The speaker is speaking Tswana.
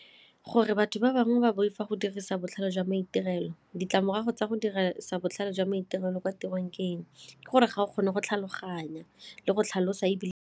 Gore batho ba bangwe ba boifa go dirisa botlhale jwa maitirelo ditlamorago tsa go dirisa botlhale jwa maitirelo kwa tirong ke eng? Ke gore ga o kgone go tlhaloganya le go tlhalosa ebile.